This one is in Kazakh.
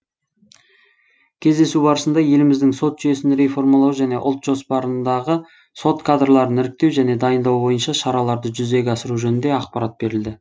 кездесу барысында еліміздің сот жүйесін реформалау және ұлт жоспарындағы сот кадрларын іріктеу және дайындау бойынша шараларды жүзеге асыру жөнінде ақпарат берілді